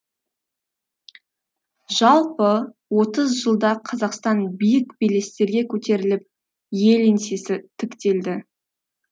жалпы отыз жылда қазақстан биік белестерге көтеріліп ел еңсесі тіктелді